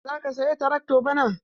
Za ka saya trakto bana?